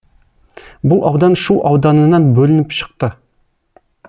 бұл аудан шу ауданынан бөлініп шықты